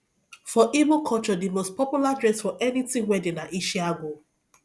for igbo culture the most popular dress for anything wedding na isiagu